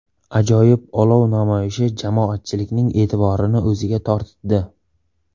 Ajoyib olov namoyishi jamoatchilikning e’tiborini o‘ziga tortdi!